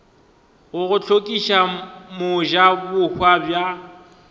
go go hlokiša mojabohwa bja